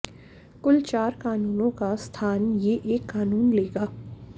कुल चार कानूनों का स्थान ये एक कानून लेगा